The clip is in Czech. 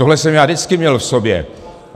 Tohle jsem já vždycky měl v sobě.